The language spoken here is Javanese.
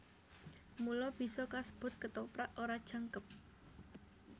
Mula bisa kasebut Kethoprak ora jangkep